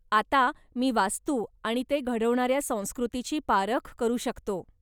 आता मी वास्तू आणि ते घडवणाऱ्या संस्कृतीची पारख करू शकतो.